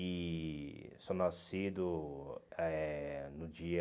E sou nascido eh no dia...